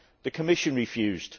The Commission refused.